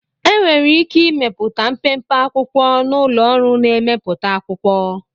Enwere ike ịmepụta mpempe akwụkwo na ụlọ ọrụ na-emepụta akwụkwọ